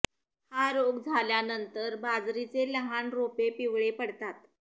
हा रोग झाल्यानंतर बाजरीचे लहान रोपे पिवळे पडतात